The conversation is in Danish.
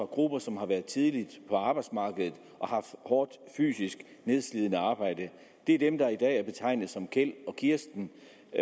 grupper som har været tidligt på arbejdsmarkedet og har haft hårdt fysisk nedslidende arbejde det er dem der i dag bliver betegnet som kjeld og kirsten